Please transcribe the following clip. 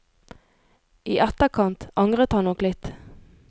I etterkant angret han nok litt.